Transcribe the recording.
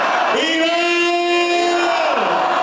İran!